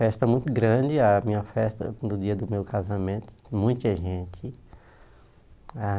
Festa muito grande, a minha festa no dia do meu casamento, muita gente.